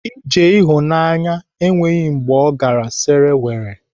Ije ịhụnanya enweghị mgbe ọ gara sere were.